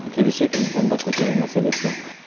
келешек енді бұны да көтеру мәселесі